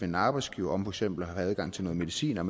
en arbejdsgiver om for eksempel at have adgang til noget medicin og